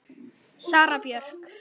Sara Björk.